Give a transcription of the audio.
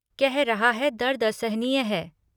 कह रहा है दर्द असहनीय है।